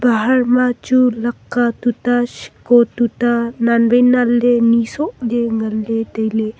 bahar ma chu laka tuta shiko tuta nan wai nan le ni soh le ngan le taile.